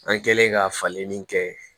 An kɛlen ka falenni kɛ